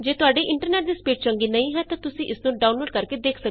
ਜੇ ਤੁਹਾਡੇ ਇੰਟਰਨੈਟ ਦੀ ਸਪੀਡ ਚੰਗੀ ਨਹੀਂ ਹੈ ਤਾਂ ਤੁਸੀਂ ਇਸ ਨੂੰ ਡਾਊਨਲੋਡ ਕਰਕੇ ਦੇਖ ਸਕਦੇ ਹੋ